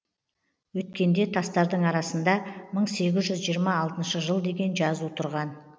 өткенде тастардың арасында мың сегіз жүз жиырма алтыншы жыл деген жазу тұрған